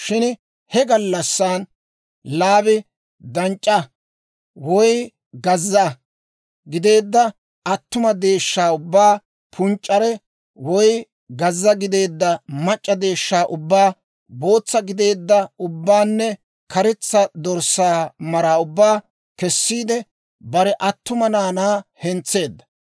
Shin he gallassan Laabi danc'c'aa woy gazza gideedda attuma deeshshaa ubbaa, punc'c'are woy gazza gideedda mac'c'a deeshshaa ubbaa, bootsa gideedda ubbaanne karetsa dorssaa mara ubbaa kessiide, bare attuma naanaa hentseedda.